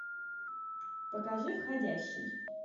покажи входящий